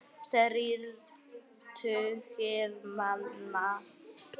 Þrír tugir manna.